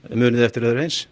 munið þið eftir öðru eins